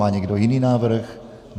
Má někdo jiný návrh?